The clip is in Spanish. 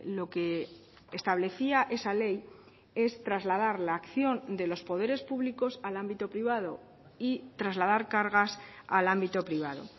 lo que establecía esa ley es trasladar la acción de los poderes públicos al ámbito privado y trasladar cargas al ámbito privado